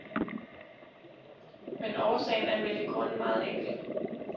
Men årsagen er vel i grunden meget enkel.